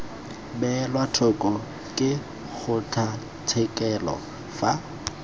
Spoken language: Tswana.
beelwa thoko ke kgotlatshekelo fa